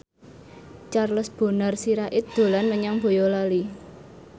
Charles Bonar Sirait dolan menyang Boyolali